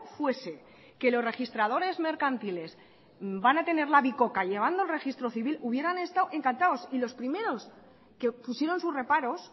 fuese que los registradores mercantiles van a tener la bicoca llevando el registro civil hubieran estado encantados y los primeros que pusieron sus reparos